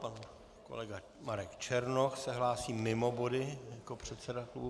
Pan kolega Marek Černoch se hlásí mimo body jak předseda klubu.